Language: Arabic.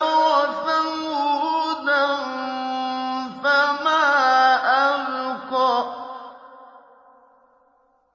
وَثَمُودَ فَمَا أَبْقَىٰ